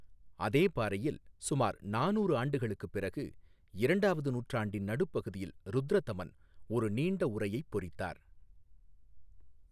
அதே பாறையில், சுமார் நானூறு ஆண்டுகளுக்குப் பிறகு, இரண்டாவது நூற்றாண்டின் நடுப்பகுதியில் ருத்ரதமன் ஒரு நீண்ட உரையைப் பொறித்தார்.